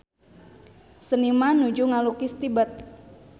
Seniman nuju ngalukis Tibet